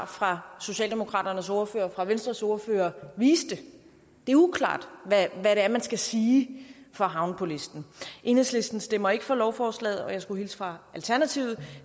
fra socialdemokratiets ordfører og fra venstres ordfører viste det er uklart hvad det er man skal sige for at havne på listen enhedslisten stemmer ikke for lovforslaget og jeg skulle hilse fra alternativet